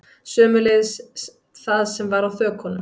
Sömuleiðis það sem var á þökunum